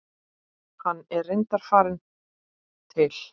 Hann er reyndar farinn til